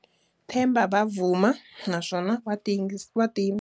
Themba Bavuma, naswona wa ti wa ti .